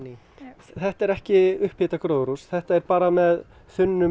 þetta er ekki upphitað gróðurhús þetta er bara með þunnum